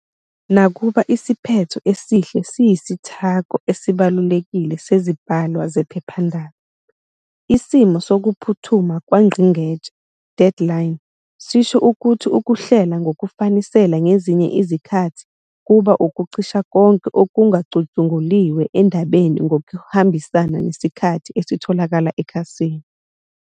Nakuba isiphetho esihle siyisithako esibalulekile sezibhalwa zephephandaba, isimo sokuphuthuma kwangqingetshe, "deadline" sisho ukuthi ukuhlela ngokufanisela ngezinye izikhathi kuba ukucisha konke okungacutshunguliwe endabeni ngokuhambisana nesikhala esitholakayo ekhasini.